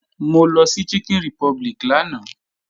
Mo lọ sí Chicken Republic lánàá